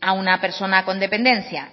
a una persona con dependencia